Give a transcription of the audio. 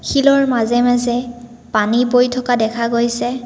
শিলৰ মাজে মাজে পানী বৈ থকা দেখা গৈছে।